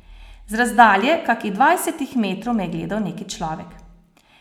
Z razdalje kakih dvajsetih metrov me je gledal neki človek.